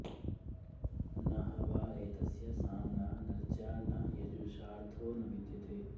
न ह वा एतस्य साम्ना नर्चा न यजुषार्थो नु विद्यते